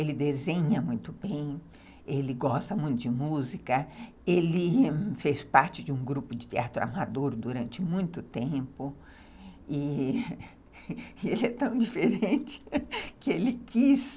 Ele desenha muito bem, ele gosta muito de música, ele fez parte de um grupo de teatro amador durante muito tempo e ele é tão diferente que ele quis